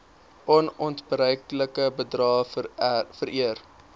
onontbeerlike bydrae vereer